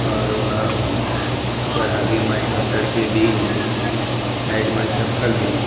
और ओ ह ओकर आगे म एकठो छड़ के बिम हे साइड म चप्पल हे।